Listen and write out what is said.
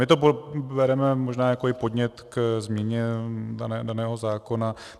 My to bereme možná i jako podnět k měně daného zákona.